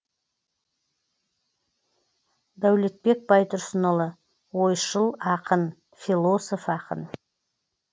дәулетбек байтұрсынұлы ойшыл ақын философ ақын